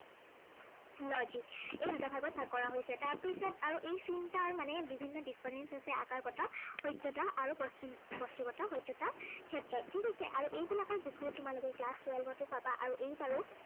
logic এই দুটা ভাগত ভাগ কৰা হৈছে। তাৰপিছত আৰু এই চিন্তাৰ মানে বিভিন্ন difference হৈছে, একাগ্ৰতা, সত্য়তা আৰু ব~বস্তুগত সত্য়াতৰ ক্ষেত্ৰত। ঠিক আছে, আৰু এই বিলাকৰ বিষয়ে তোমালোকে class twelve টো পাবা আৰু এইবাৰো